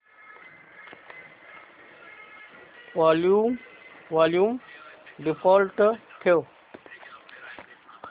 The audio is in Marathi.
वॉल्यूम डिफॉल्ट ठेव